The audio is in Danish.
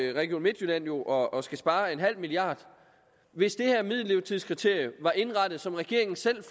region midtjylland jo og og skal spare en halv milliard hvis det her middellevetidskriterium var indrettet som regeringen selv